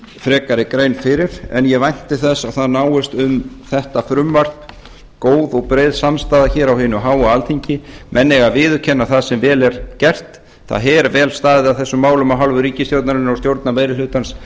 frekari grein fyrir ég vænti þess að það náist um þetta frumvarp góð og breið samstaða hér á hinu háa alþingi menn eiga að viðurkenna það sem vel er gert það er vel staðið að þessum málum af hálfu ríkisstjórnarinnar og stjórnarmeirihlutans